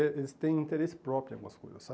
Eh eles têm interesse próprio em algumas coisas,